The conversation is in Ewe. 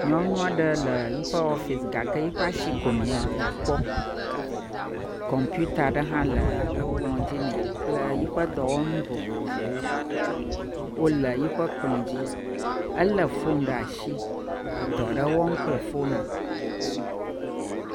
Nyɔnu aɖe le yiƒe ɔfisi gake yiƒe asi ko nakpɔ. Kɔmpita ɖe hã le ekplɔ dzi nɛ kple yiƒe edɔwɔnu vovovowo wole yiƒe kplɔ dzi. Ele foni ɖe asi edɔ ɖe wɔm kple fona.